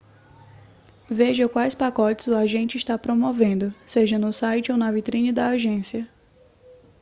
veja quais pacotes o agente está promovendo seja no site ou na vitrine da agência